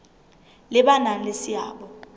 le ba nang le seabo